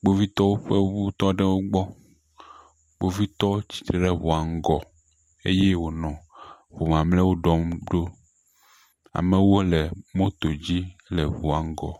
Kpovitɔwo ƒe ŋu tɔ ɖe wo gbɔ. Kpovitɔ tsi tre ɖe ŋua ŋgɔ eye wonɔ ŋu mamleawo ɖɔm ɖo. amewo nɔ moto dzi le ŋua ŋgɔ.